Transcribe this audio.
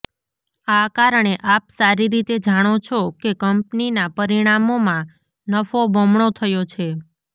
આ કારણે આપ સારી રીતે જાણો છો કે કંપનીના પરિણામોમાં નફો બમણો થયો છે